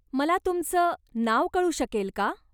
मला तुमचं नाव कळू शकेल का?